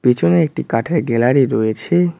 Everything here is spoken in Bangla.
পিছনে একটি কাঠের গ্যালারি রয়েছে।